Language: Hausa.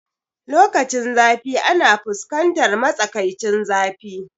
Lokacinzafi ana fuskantar matsakaicin zafi